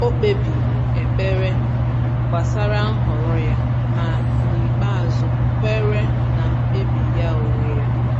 O kpebiri ekpere gbasara nhọrọ ya, ma n’ikpeazụ kweere na mkpebi ya onwe ya.